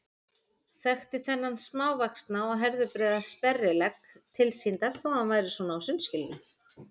Þekkti þennan smávaxna og herðabreiða sperrilegg tilsýndar þó að hann væri svona á sundskýlunni.